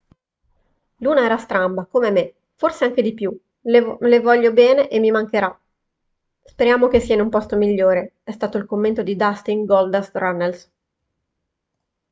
"luna era stramba come me forse anche di più le voglio bene e mi mancherà speriamo che sia in un posto migliore è stato il commento di dustin goldust runnels